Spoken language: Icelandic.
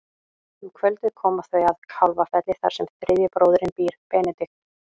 Um kvöldið koma þau að Kálfafelli þar sem þriðji bróðirinn býr, Benedikt.